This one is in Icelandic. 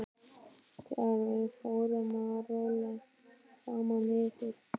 Þegar við fórum að róla saman yfir